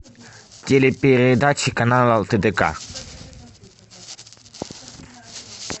телепередачи канала тдк